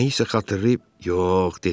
Nəyisə xatırlayıb, yox, dedi.